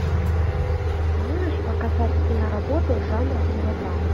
можешь показать киноработу жанра мелодрама